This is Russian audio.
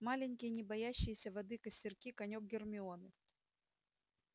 маленькие не боящиеся воды костёрки конёк гермионы